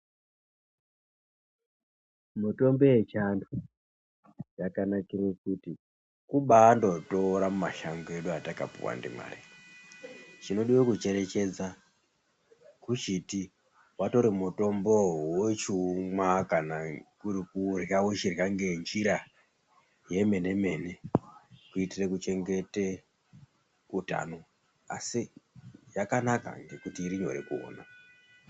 Mitombo yechiantu yakanakire kuti kubandotora mumashango edu atakapuwa ndimwari. Chinodiwa kucherechedza kuchiti watore mombowo wochiumwa kana kuri kurya wochirya ngenjira yemene-mene kuitire kuchengete utano asi yakanaka ngekuti iri nyore kuona.